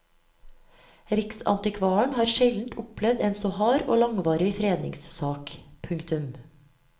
Riksantikvaren har sjelden opplevd en så hard og langvarig fredningssak. punktum